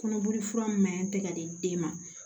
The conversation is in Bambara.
Kɔnɔboli fura min maɲi te ka di den ma